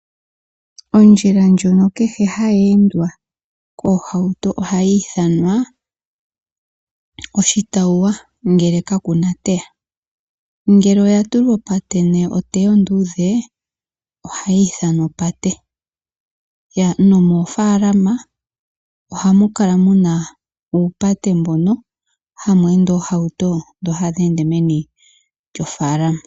Ondjila ndjono kehe hayi endwa koohauto ohayi ithanwa oshitawuwa ngele kaku na oteya. Ngele oya tulwa opate nenge oteya onduudhe ohayi ithanwa opate. Nomoofalama ohamu kala mu na uupate mbono hamu ende oohauto dhi hadhi ende meni lyofaalama.